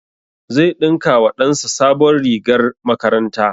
Zai ɗinka wa ɗan sa sabon rigar makaranta